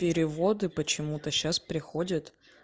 переводы почему-то сейчас приходят